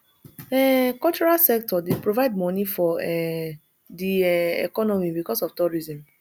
um cultural sector dey provide money for um di um economy because of tourism